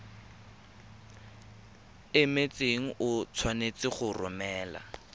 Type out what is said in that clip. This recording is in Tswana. emetseng o tshwanetse go romela